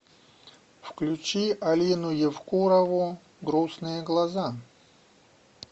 включи алину евкурову грустные глаза